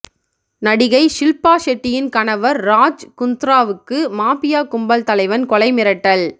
நடிகை ஷில்பா ஷெட்டியின் கணவர் ராஜ் குந்த்ராவுக்கு மாபியா கும்பல் தலைவன் கொலை மிரட்டல்